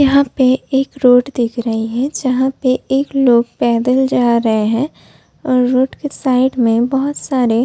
यहाँ पर एक रोड दिख रही है। जहां पर एक लोग पैदल जा रहे है और रोड के साइड में बहुत सारे --